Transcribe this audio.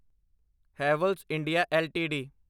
Havells India LTD